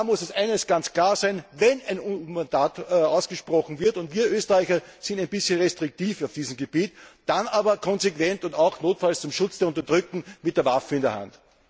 Dabei muss eines ganz klar sein Wenn ein UN Mandat ausgesprochen wird und wir Österreicher sind ein bisschen restriktiv auf diesem Gebiet dann auch konsequent und notfalls auch zum Schutz der Unterdrückten mit der Waffe in der Hand.